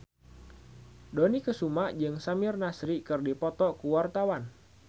Dony Kesuma jeung Samir Nasri keur dipoto ku wartawan